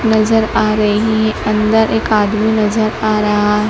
नजर आ रही अंदर एक आदमी नजर आ रहा--